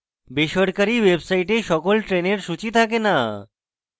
বেসরকারী websites সকল trains সূচী থাকে not